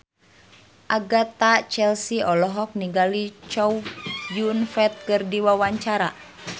Agatha Chelsea olohok ningali Chow Yun Fat keur diwawancara